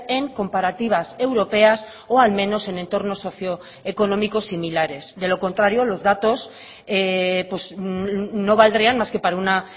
en comparativas europeas o al menos en entornos socio económicos similares de los contrario los datos no valdrían más que para una